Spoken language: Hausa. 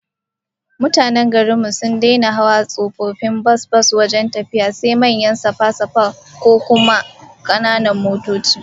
Mutanen garin mu sun daina hawa tsofaffin bas bas wajen tafiya, sai manyan safa-safa, ko kuma kananan motoci